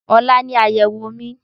Ọ̀la ni àyèwò mi